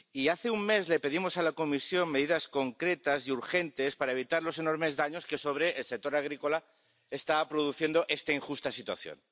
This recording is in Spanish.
Hace un mes le pedimos a la Comisión medidas concretas y urgentes para evitar los enormes daños que sobre el sector agrícola está produciendo esta injusta situación.